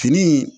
Fini